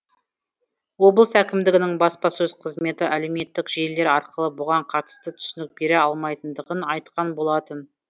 облыс әкімдігінің баспасөз қызметі әлеуметтік желілер арқылы бұған қатысты түсінік бере алмайтындығын айтқан болатын